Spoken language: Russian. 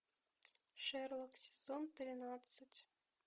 шерлок сезон тринадцать